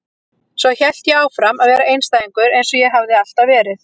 Svo hélt ég áfram að vera einstæðingur eins og ég hafði alltaf verið.